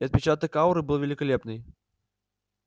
и отпечаток ауры был великолепный